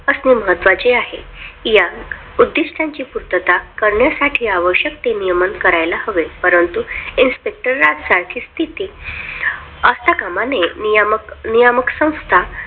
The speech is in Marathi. असणे महत्त्वाचे आहे या उद्दिष्टांची पूर्तता करण्यासाठी आवश्यक ते नियमन करायला हवे परंतु Inspector राज सारखी स्थिती असता कामा नये मग नियमक संस्था